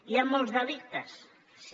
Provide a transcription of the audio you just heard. hi ha molts delictes sí